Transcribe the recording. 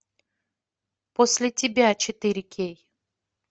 после тебя четыре кей